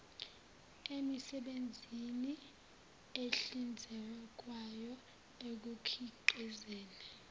emisebenzini ehlinzekwayo ekukhiqizeni